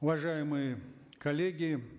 уважаемые коллеги